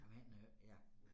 Men øh ja